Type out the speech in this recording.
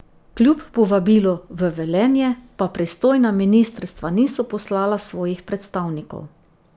Kljub povabilu v Velenje pa pristojna ministrstva niso poslala svojih predstavnikov.